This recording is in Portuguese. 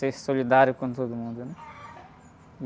Ser solidário com todo mundo.